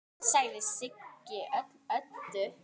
sagði Siggi Öddu.